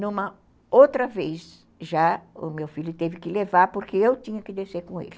Numa outra vez já o meu filho teve que levar porque eu tinha que descer com ele.